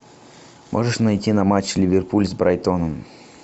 можешь найти нам матч ливерпуль с брайтоном